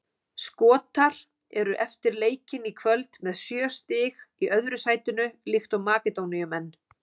Skotar eru eftir leikinn í kvöld með sjö stig í öðru sætinu líkt og Makedóníumenn.